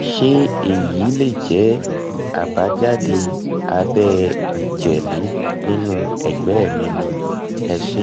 ṣé èyí lè jẹ́ àbájáde abẹ́ ìjẹ́lẹ̀ inú ẹ̀gbẹ́ mi mi ni? ẹ se